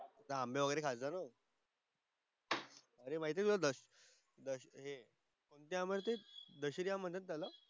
आंबे वगैरे खायचा तो. ते माहिती आहे तुला दश दशे काय म्हणतात? दशेहरी आम म्हणतात त्याला.